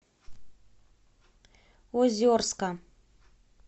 озерска